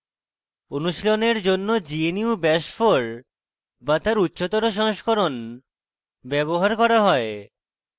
অনুশীলনের জন্য gnu bash 4 bash তার উচ্চতর সংস্করণ ব্যবহার করা হয়